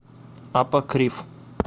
апокриф